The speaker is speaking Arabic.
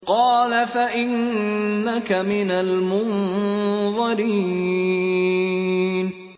قَالَ فَإِنَّكَ مِنَ الْمُنظَرِينَ